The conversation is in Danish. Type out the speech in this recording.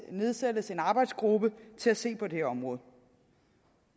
nedsættes en arbejdsgruppe til at se på det her område